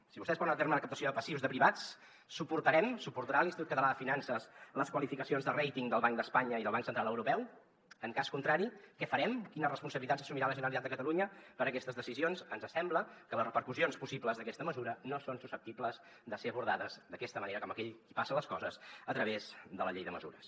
si vostès porten a terme la captació de passius de privats suportarem suportarà l’institut català de finances les qualificacions de ratingeuropeu en cas contrari què farem quines responsabilitats assumirà la generalitat de catalunya per aquestes decisions ens sembla que les repercussions possibles d’aquesta mesura no són susceptibles de ser abordades d’aquesta manera com aquell qui passa les coses a través de la llei de mesures